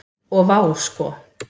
Og vá sko.